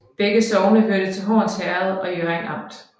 Begge sogne hørte til Horns Herred i Hjørring Amt